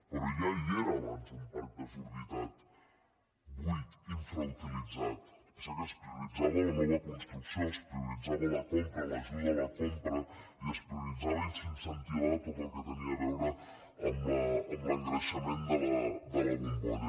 però ja hi era abans un parc desorbitat buit infrauti·litzat passa que es prioritzava la nova construcció es prioritzava la compra l’ajuda a la compra i es priorit·zava i s’incentivava tot el que tenia a veure amb l’en·greixament de la bombolla